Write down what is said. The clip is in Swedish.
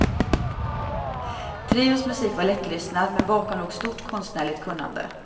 Trions musik var lättlyssnad men bakom låg stort konstnärligt kunnande.